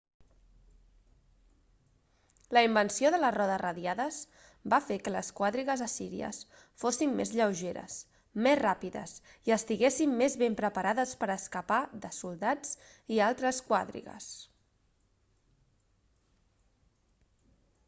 la invenció de les rodes radiades va fer que les quadrigues assíries fossin més lleugeres més ràpides i estiguessin més ben preparades per a escapar de soldats i altres quadrigues